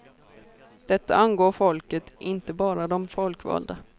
Detta angår folket, inte bara de folkvalda.